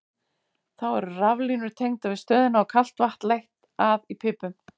Þá eru raflínur tengdar við stöðina og kalt vatn leitt að í pípum.